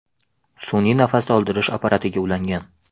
sun’iy nafas oldirish apparatiga ulangan.